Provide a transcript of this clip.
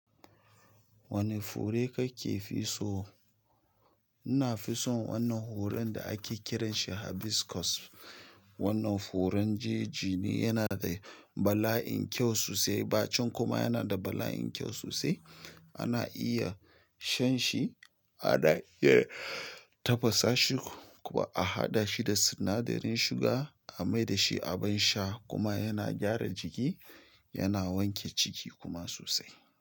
Wane fure kake fi so? Ina fi son wannan horon da ake kiransa hibiscus. Wannan horon jeji ne, yana da bala'in kyau sosai, bacin kuma yana da bala'in kyau sosai. Ana iya shan shi, ana iya tafasa shi kuma a haɗa shi da sinadarin shuga a mai da shi abin sha kuma yana gyara jiki, yana wanke ciki kuma sosai.